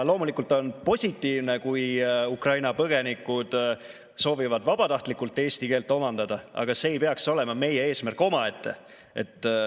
Loomulikult on positiivne, kui Ukraina põgenikud soovivad vabatahtlikult eesti keelt omandada, aga see ei peaks olema meie eesmärk omaette.